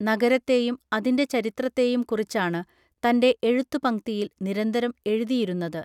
നഗരത്തെയും അതിൻറെ ചരിത്രത്തെയും കുറിച്ചാണ് തൻറെ എഴുത്തുപംക്തിയിൽ നിരന്തരം എഴുതിയിരുന്നത്